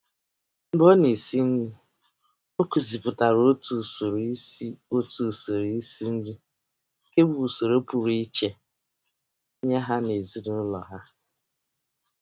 Mgbe ọ na-esi nri, ọ kụzipụtara otu usoro isi otu usoro isi nri nke bụ usoro pụrụ iche nye ha n'ezinaụlọ ha.